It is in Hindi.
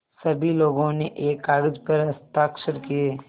सभी लोगों ने एक कागज़ पर हस्ताक्षर किए